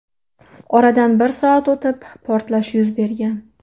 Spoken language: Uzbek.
Oradan bir soat o‘tib portlash yuz bergan.